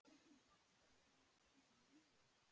Margir bankar voru látnir rúlla.